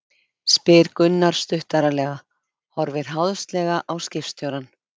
spyr Gunnar stuttaralega, horfir háðslega á skipstjórann.